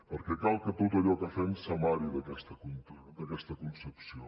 perquè cal que tot allò que fem s’amari d’aquesta concepció